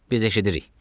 Biz eşidirik.